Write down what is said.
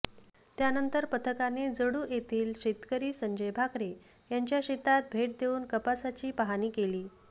त्यानंतर पथकाने जळू येथील शेतकरी संजय भाकरे यांच्या शेतात भेट देऊन कपाशीची पाहणी केली